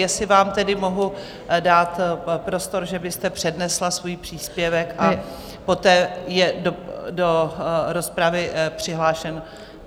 Jestli vám tedy mohu dát prostor, že byste přednesla svůj příspěvek, a poté je do rozpravy přihlášen...